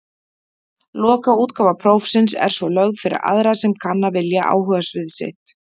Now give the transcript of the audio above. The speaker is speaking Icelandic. Lokaútgáfa prófsins er svo lögð fyrir aðra sem kanna vilja áhugasvið sitt.